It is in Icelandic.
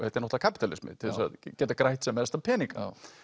er náttúrulega kapíalismi til þess að geta grætt sem mestan pening